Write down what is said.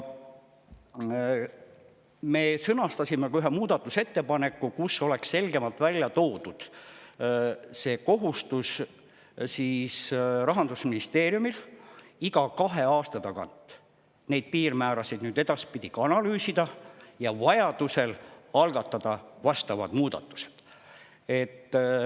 Me sõnastasime ka ühe muudatusettepaneku, kus oleks selgemalt ära toodud Rahandusministeeriumi kohustus iga kahe aasta tagant neid piirmäärasid edaspidi analüüsida ja vajaduse korral algatada vastavad muudatused.